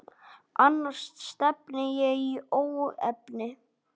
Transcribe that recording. Annars stefni í óefni.